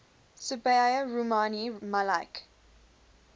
sabiha rumani malik